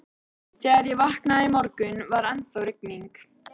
Þegar ég vaknaði í morgun, var ennþá rigning.